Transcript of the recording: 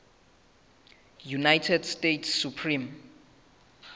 united states supreme